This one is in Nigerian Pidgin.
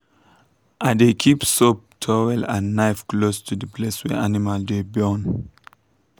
i dey keep soap towel and knife close to the place wey animal dey born.